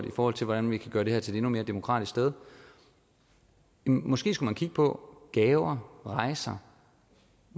i forhold til hvordan vi kan gøre det her til et endnu mere demokratisk sted måske skulle man kigge på gaver rejser